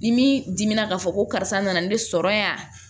Ni min dimina k'a fɔ ko karisa nana ne sɔrɔ yan